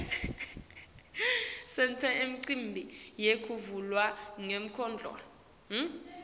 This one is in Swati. senta imicimbi yekuvulwa kwemidlalo